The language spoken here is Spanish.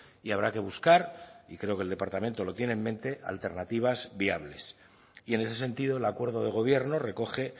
y habrá que buscar y creo que el departamento lo tiene en mente alternativas viables y en ese sentido el acuerdo de gobierno recoge